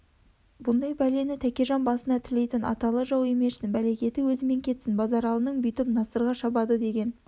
бұндай бәлені тәкежаң басына тілейтін аталы жау емешін бәлекеті өзімен кетсін базаралының бүйтіп насырға шабады деген